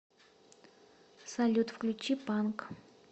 салют включи панк